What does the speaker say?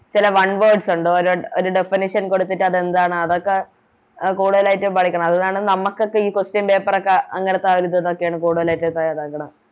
ചില One words ഒണ്ട് ഒര് ഒര് Definition കൊടുത്തിട്ട് അതെന്താന്ന് അതൊക്കെ എ കൂടുതലായിട്ടും പഠിക്കണം അതുകാരണം നമുക്കൊക്കെ ഈ Question paper ഒക്കെ ഏറ്റോം കൂടുതല് സങ്കടം